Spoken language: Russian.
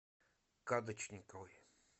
кадочниковой